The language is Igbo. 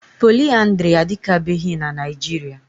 Poliaandrị adịkabeghị na Naịjiria.